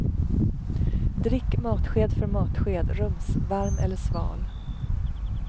Drick matsked för matsked, rumsvarm eller sval.